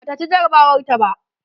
Bata ci jarabawar ta ba